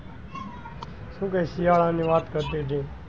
તું કૈક શિયાળા ની વાત કરતી હતી.